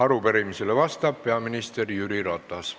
Arupärimisele vastab peaminister Jüri Ratas.